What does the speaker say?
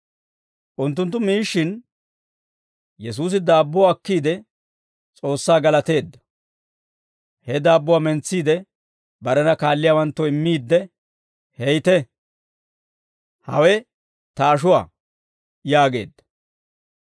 Unttunttu miishshin, Yesuusi daabbuwaa akkiide, S'oossaa galateedda; he daabbuwaa mentsiide, barena kaalliyaawanttoo immiidde, «Heytte; hawe ta ashuwaa» yaageedda.